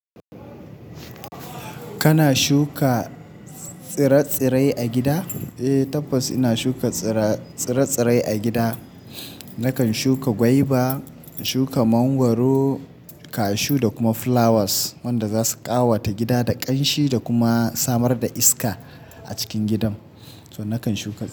Kana shuka tsire-tsire a gida? Eh tabbas ina shuka tsire-tsire a gida. Nakan shuka gwaiba, in shuka mangwaro, kashu da kuma flowers wanda zasu ƙawata gida da ƙanshi da kuma samar da iska a cikin gidan. So nakan shuka.